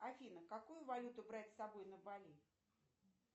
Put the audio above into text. афина какую валюту брать с собой на бали